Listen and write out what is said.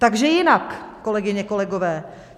Takže jinak, kolegyně, kolegové.